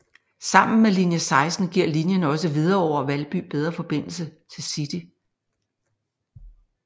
Sammen med linie 16 giver linien også Hvidovre og Valby bedre forbindelse til City